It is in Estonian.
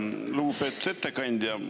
Lugupeetud ettekandja!